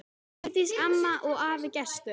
Vigdís amma og afi Gestur.